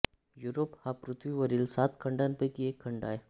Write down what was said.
Europe हा पृथ्वीवरील सात खंडांपैकी एक खंड आहे